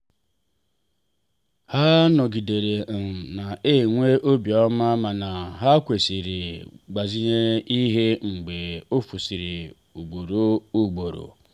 ha nọgidere um na enwe obiọma mana ha kwụsịrị ịgbazinye ihe mgbe ofusịrị ugboro ugboro.